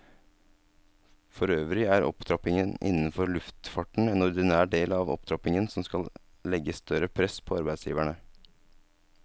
Forøvrig er opptrappingen innenfor luftfarten en ordinær del av opptrappingen som skal legge større press på arbeidsgiverne.